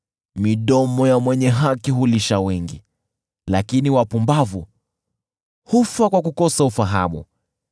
Midomo ya mwenye haki hulisha wengi, lakini wapumbavu hufa kwa kukosa ufahamu.